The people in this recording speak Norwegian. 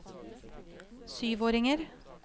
syvåringer